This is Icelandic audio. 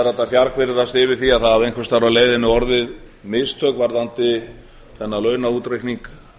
að fjargviðrast yfir því að einhvers staðar á leiðinni hafi orðið mistök varðandi þennan launaútreikning